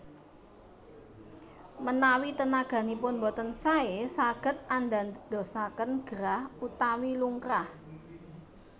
Manawi tenaganipun boten saé saged andadosaken gerah utawi lungkrah